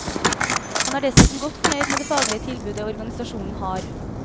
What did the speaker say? Han er dessuten godt fornøyd med det faglige tilbudet organisasjonen har.